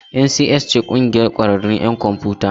NCS ce ƙungiyar ƙwararrun 'yan kwamfiyuta.